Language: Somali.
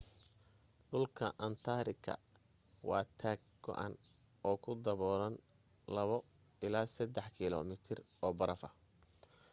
dhulka antaartika waa taag go'an oo uu dabuulay 2-3 km oo barafa